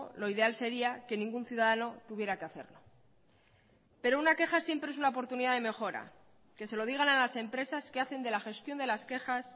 lo ideal sería que ningún ciudadano tuviera que hacerlo pero una queja siempre es una oportunidad de mejora que se lo digan a las empresas que hacen de la gestión de las quejas